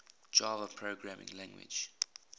java programming language